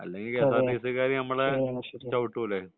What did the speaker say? അല്ലെങ്കിൽ K S R T C ക്കാർ നമ്മളെ ചവിട്ടൂലെ